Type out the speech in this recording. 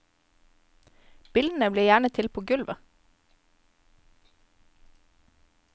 Bildene blir gjerne til på gulvet.